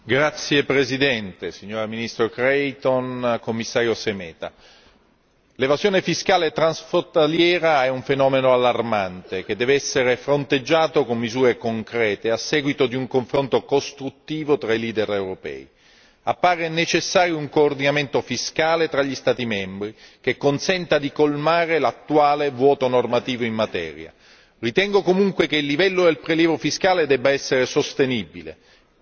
Signor Presidente, onorevoli colleghi, ministro Creighton, Commissario Šemeta, l'evasione fiscale transfrontaliera è un fenomeno allarmante che deve essere fronteggiato con misure concrete, a seguito di un confronto costruttivo tra i leader europei. Appare necessario un coordinamento fiscale tra gli Stati membri che consenta di colmare l'attuale vuoto normativo in materia. Ritengo comunque che il livello del prelievo fiscale debba essere sostenibile.